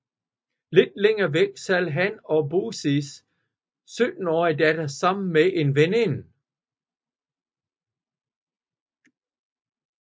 Lidt længere væk sad han og Bøseis syttenårige datter sammen med en veninde